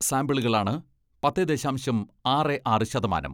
സാമ്പിളുകളാണ് പത്തേ ദശാംശം ആറേ ആറ് ശതമാനം.